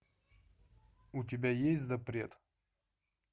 у тебя есть запрет